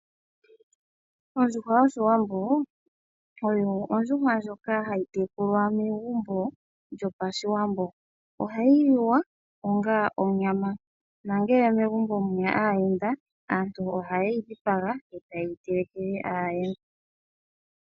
Ondjuhwa yOshiwambo oyo ondjuhwa ndjoka hayi tekulwa megumbo lyopaShiwambo. Ohayi liwa onga onyama nangele megumbo muna aayenda aantu ohaye yi dhipaga e ta ye yi telekele aayenda.